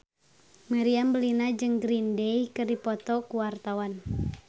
Meriam Bellina jeung Green Day keur dipoto ku wartawan